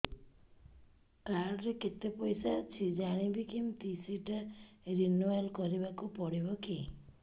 card ରେ କେତେ ପଇସା ଅଛି ଜାଣିବି କିମିତି ସେଟା ରିନୁଆଲ କରିବାକୁ ପଡ଼ିବ କି